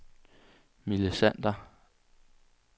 Mille Sander